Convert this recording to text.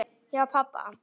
Hjá pabba